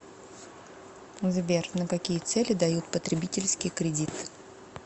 сбер на какие цели дают потребительский кредит